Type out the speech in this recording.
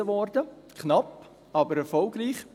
Sie wurde überwiesen – knapp, aber erfolgreich.